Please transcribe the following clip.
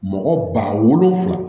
Mɔgɔ ba wolonfila